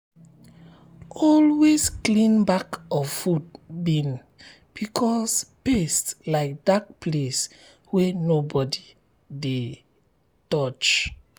always clean back of food bin because pest like dark place wey nobody dey dey touch.